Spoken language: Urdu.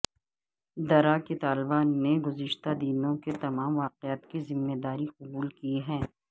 درہ کے طالبان نے گزشتہ دنوں کے تمام واقعات کی ذمہ داری قبول کی ہے